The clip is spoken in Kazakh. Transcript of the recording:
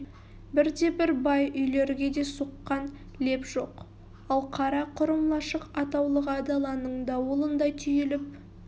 бірде-бір бай үйлерге де соққан леп жоқ ал қара құрым лашық атаулыға даланың дауылындай түйіліп